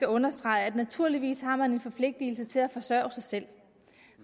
understrege at naturligvis har man en forpligtelse til at forsørge sig selv